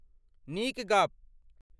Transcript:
नीक गप्प ।